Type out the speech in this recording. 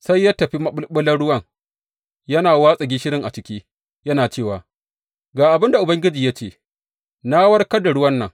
Sai ya tafi maɓulɓular ruwan yana watsa gishirin a ciki, yana cewa, Ga abin da Ubangiji ya ce, Na warkar da ruwan nan.